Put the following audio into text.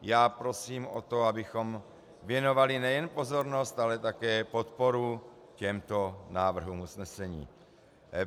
Já prosím o to, abychom věnovali nejen pozornost, ale také podporu těmto návrhům usnesení.